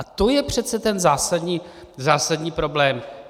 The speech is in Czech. A to je přece ten zásadní problém.